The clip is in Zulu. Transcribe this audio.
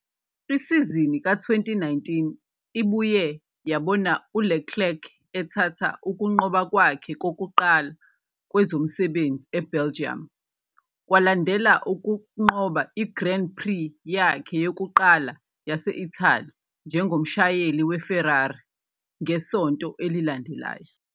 Isizini ka-2019 ibuye yabona uLeclerc ethatha ukunqoba kwakhe kokuqala kwezomsebenzi eBelgium, kwalandela ukunqoba i-Grand Prix yakhe yokuqala yase-Italy njengomshayeli weFerrari ngesonto elilandelayo.